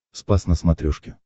спас на смотрешке